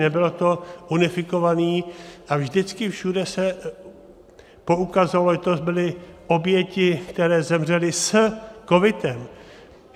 Nebylo to unifikováno a vždycky všude se poukazovalo, že to byly oběti, které zemřely s covidem.